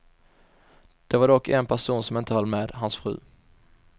Det var dock en person som inte höll med, hans fru.